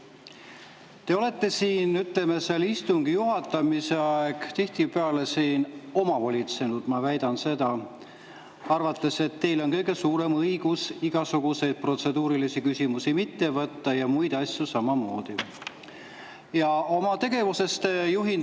Ma väidan, et te olete siin, ütleme, istungi juhatamise ajal tihtipeale omavolitsenud, arvates, et teil on kõige suurem õigus igasuguseid protseduurilisi küsimusi mitte võtta ja muid asju samamoodi.